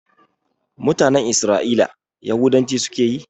Mutanen Isra'ila Yahudanci suke yi